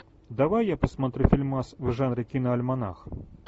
давай я посмотрю фильмас в жанре киноальманах